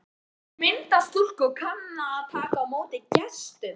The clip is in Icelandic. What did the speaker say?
Hún er myndarstúlka og kann að taka á móti gestum.